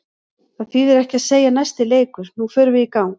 Það þýðir ekki að segja næsti leikur, nú förum við í gang.